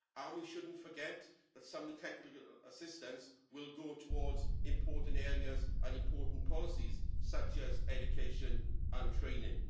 We should not forget that some of the technical assistance will go towards important areas and important policies, such as education and training.